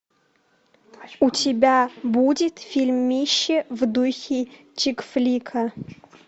у тебя будет фильмище в духе чик флика